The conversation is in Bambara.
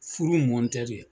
Furu in mɔn tɛ de